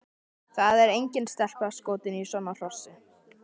Það er engin stelpa skotin í svona hrossi!